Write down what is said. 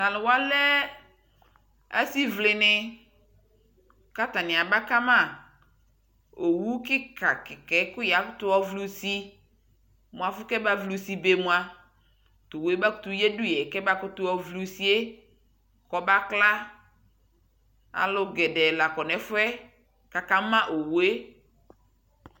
Taluwaa lɛɛ asi ʋlɛnɛ katani abakama Owu kika kikɛ ku yakutu yɔvliusi muafu kɛma vliusi be mua towue makutu yadu yɛkɛmakutu yɔvliusiekɔbakla aluu gedɛɛ la kɔ nɛfuɛkakamaowue